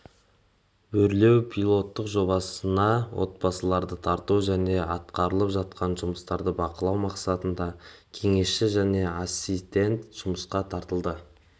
өрлеу пилоттық жобасына отбасыларды тарту және атқарылып жатқан жұмыстарды бақылау мақсатында кеңесші және ассистент жұмысқа тартылды